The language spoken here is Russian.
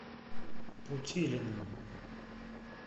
путилиным